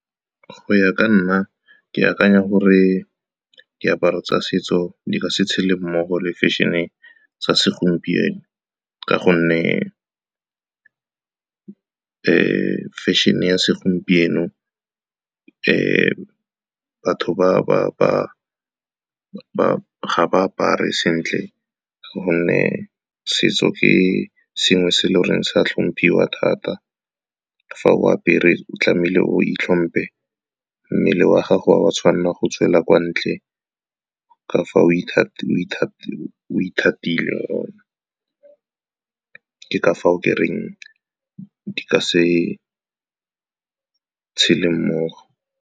Go ya ka nna, ke akanya gore diaparo tsa setso di ka se tshele mmogo le fashion-e tsa segompieno, ka gonne fashion-e ya segompieno batho ga ba apare sentle, gonne setso ke sengwe se eleng gore sa tlhomphiwa thata. Fa o apere, o tlamehile o itlhompile, mmele wa gago wa tshwanela go tswela kwa ntle, ka fa ithatile ke fa o ke reng, di ka se tshele mmogo.